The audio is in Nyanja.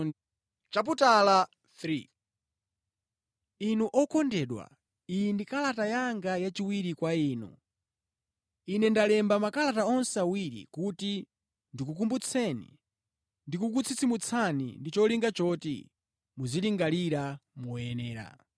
Inu okondedwa, iyi ndi kalata yanga yachiwiri kwa inu. Ine ndalemba makalata onse awiri kuti ndikukumbutseni ndi kukutsitsimutsani ndi cholinga choti muzilingalira moyenera.